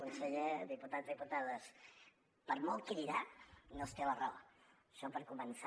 conseller diputats diputades per molt cridar no es té la raó això per començar